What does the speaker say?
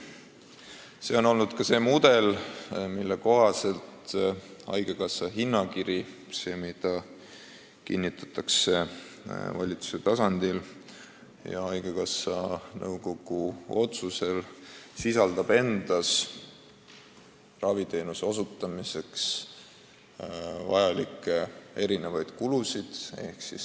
Selle mudeli kohaselt sisaldab haigekassa hinnakiri – see kinnitatakse valitsuse tasandil ja haigekassa nõukogu otsuse alusel – erinevaid raviteenuse osutamiseks vajalikke kulusid.